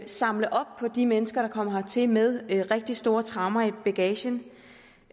samle op på de mennesker der kommer hertil med rigtig store traumer i bagagen